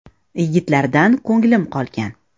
“Yigitlardan ko‘nglim qolgan”.